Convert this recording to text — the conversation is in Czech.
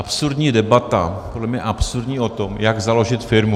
Absurdní debata, podle mě absurdní o tom, jak založit firmu.